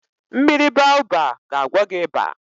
Mmiri Baoba ga agwọ gị ịba